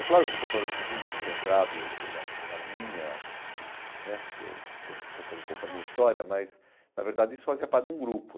É claro que eu estou falando isso assim muito centrado assim na na minha né, porque estou contando um pouco a minha história, mas na verdade isso fazia parte de um grupo.